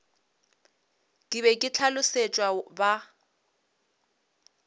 ke be ke hlolosetšwe ba